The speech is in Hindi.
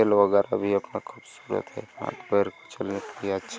खेल वेगरा खूबसूरत है